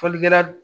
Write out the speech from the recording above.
Fɔlikɛla